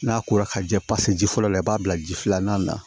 N'a kora ka jɛ pase ji fɔlɔ la i b'a bila ji filanan na